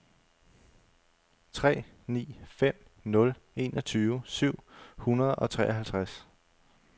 tre ni fem nul enogtyve syv hundrede og treoghalvtreds